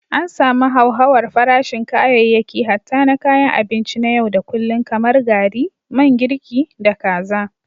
An samu hauhawar farashin kayayyaki hatta na kayan abinci na yau da kullun kamar gari, man girki, da kaza.